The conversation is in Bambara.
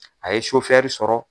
A ye sofɛri sɔrɔ.